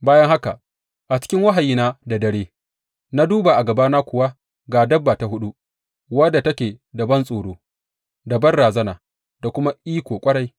Bayan haka, a cikin wahayina da dare na duba, a gabana kuwa ga dabba ta huɗu, wadda take da bantsoro da banrazana da kuma iko ƙwarai.